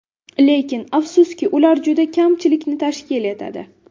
Lekin, afsuski, ular juda kamchilikni tashkil etadi.